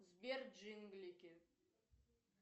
сбер джинглики